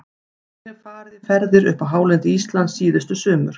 Ég hef farið í ferðir upp á hálendi Íslands síðustu sumur.